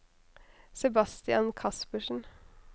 Sebastian Kaspersen